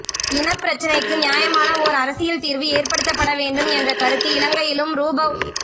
இனப்பிரச்சினைக்கு நியாயமான ஓர் அரசியல் தீர்வு ஏற்படுத்தப்பட வேண்டும் என்ற கருத்து இலங்கையிலும்ரூபவ்